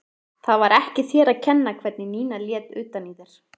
Það var ekki þér að kenna hvernig Nína lét utan í þér.